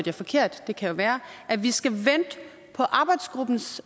jeg forkert det kan jo være at vi skal vente på arbejdsgruppens